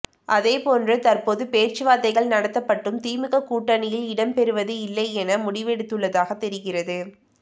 அதே போன்று தற்போது பேச்சுவார்த்தைகள் நடத்தப்பட்டும் திமுக கூட்டணியில் இடம்பெறுவது இல்லை என முடிவெடுத்துள்ளதாக தெரிகிறது